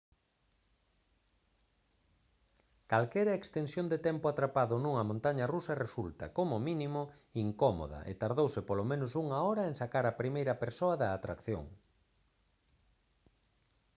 calquera extensión de tempo atrapado nunha montaña rusa resulta como mínimo incómoda e tardouse polo menos unha hora en sacar á primeira persoa da atracción»